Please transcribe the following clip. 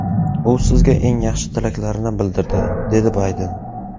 U sizga eng yaxshi tilaklarini bildirdi”, dedi Bayden.